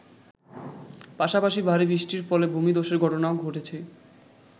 পাশাপাশি ভারী বৃষ্টির ফলে ভূমিধ্বসের ঘটনাও ঘটেছে।